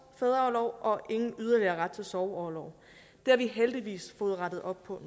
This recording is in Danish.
fædreorlov og ingen yderligere ret til sorgorlov det har vi heldigvis fået rettet op på